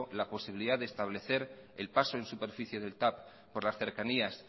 la posibilidad de establecer el paso en superficie del tav por las cercanías